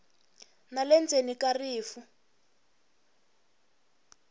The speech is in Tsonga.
na le ndzhaku ka rifu